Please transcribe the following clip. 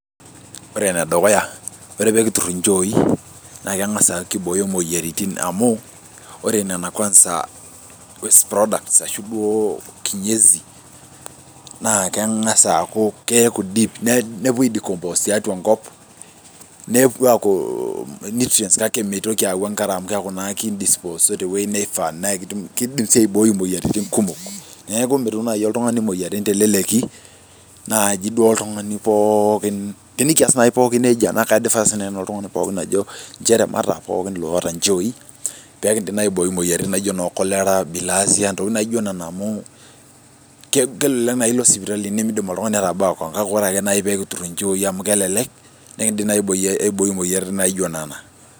Ore enedukuya ore pekiturr inchoi naa keng'as aaku kibooyo imoyiaritin amu ore nena kwanza waste products ashu duo kinyezi naa keng'as aaku keeku deep nepuo ae decompose tiatua enkop nepuo aaku nutrients kake meitoki aawu enkare amu keeku naa kindisposo tewuei neifaa nakitum kidim sii aiboi imoyiaritin kumok neeku mitum naaji oltung'ani imoyiaritin teleleki naaji duo oltung'ani pookin tenikias naaji pookin nejia naa kae advise nai nanu oltung'ani ajo inchere mataa pookin iloota inchooi pekindim naa aiboi imoyiaritin naijio inoo cholera, bilherzia amu kele kelelek naai ilo sipitali nimindim oltuing'ani tabaa kewon kake ore naai pekiturr inchooi amu kelelek nekindim naai aiboi e aiboi imoyiaritin naijio nena.